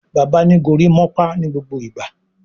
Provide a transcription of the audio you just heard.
Bàbá ní gorimopa nigbogbo ìgbà